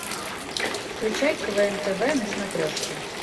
включай квн тв на смотрешке